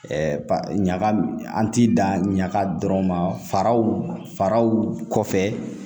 ɲaga an ti dan ɲaga dɔrɔn ma faraw faraw kɔfɛ